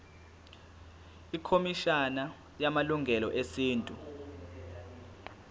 ikhomishana yamalungelo esintu